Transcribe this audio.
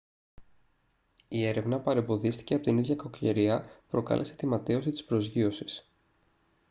η έρευνα παρεμποδίστηκε από την ίδια κακοκαιρία που προκάλεσε την ματαίωση της προσγείωσης